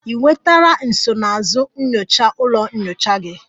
Ị nwetara nsonaazụ nyocha ụlọ nyocha gị?